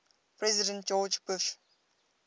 president george bush